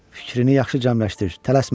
Fikrini yaxşı cəmləşdir, tələsmə.